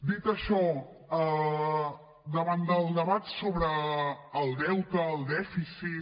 dit això davant del debat sobre el deute el dèficit